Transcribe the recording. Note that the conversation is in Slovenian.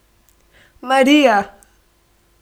Marija!